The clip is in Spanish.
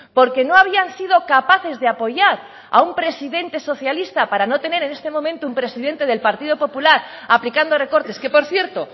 porque no habían sido capaces de apoyar a un presidente socialista para no tener en este momento un presidente del partido popular aplicando recortes que por cierto